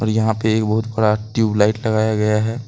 यहां पे बहुत बड़ा ट्यूबलाइट लगाया गया है।